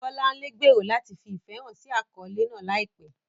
Bolanle gbèrò láti fi ìfẹ́ hàn sí àkọ́lé náà láìpẹ́.